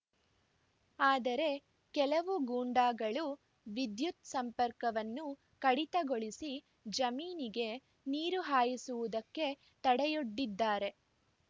ಆದರೆ ಕೆಲವು ಗೂಂಡಾಗಳು ವಿದ್ಯುತ್‌ ಸಂಪರ್ಕವನ್ನು ಕಡಿತಗೊಳಿಸಿ ಜಮೀನಿಗೆ ನೀರು ಹಾಯಿಸುವುದಕ್ಕೆ ತಡೆಯೊಡ್ಡಿದ್ದಾರೆ